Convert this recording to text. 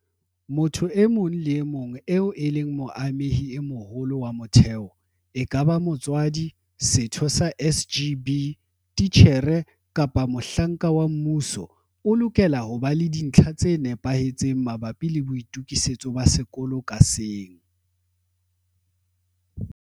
Motho e mong le e mong eo e leng moamehi e moholo wa motheo, ekaba motswadi, setho sa SGB, titjhere kapa mohlanka wa mmuso, o lokela ho ba le dintlha tse nepahetseng mabapi le boitokisetso ba sekolo ka seng.